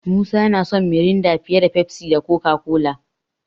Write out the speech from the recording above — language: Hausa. Musa yana son Miranda fiye da Pepsi da Coca-Cola.